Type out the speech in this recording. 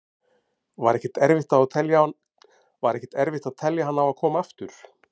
Var ekkert erfitt að telja hann á að koma aftur?